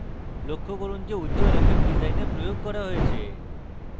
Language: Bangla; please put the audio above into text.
লক্ষ্য করুন যে উজ্জল effect ডিসাইনে প্রয়োগ করা হয়েছে